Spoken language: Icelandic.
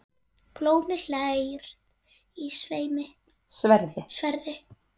Blómi hlær í sverði.